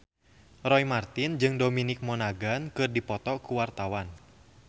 Roy Marten jeung Dominic Monaghan keur dipoto ku wartawan